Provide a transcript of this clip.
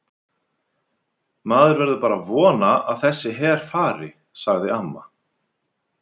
Maður verður bara að vona að þessi her fari, sagði amma.